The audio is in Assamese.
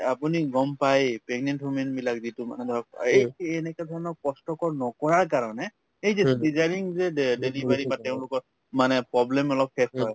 আপুনি গম পাই pregnant human বিলাক যিটো মানে ধৰক অ এই এনেকাধৰণৰ কষ্টকৰ নকৰাৰ কাৰণে এই যে cesarean যে de delivery বা তেওঁলোকৰ মানে problem অলপ